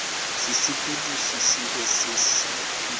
sesepediši se sebe sa phišo